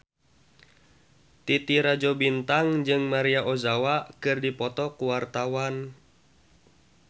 Titi Rajo Bintang jeung Maria Ozawa keur dipoto ku wartawan